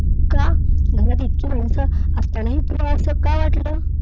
का? घरात इतकी माणसं असतानाही तुला असं का वाटले?